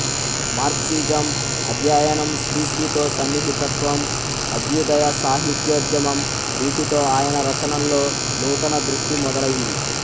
Marxism అధ్యయనం శ్రీశ్రీతో సన్నిహితత్వం అభ్యుదయ సాహిత్యోద్యమం వీటితో ఆయన రచనల్లో నూతన దృష్టి మొదలైంది